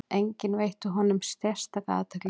Enginn veitti honum sérstaka athygli.